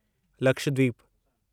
Lakshadweep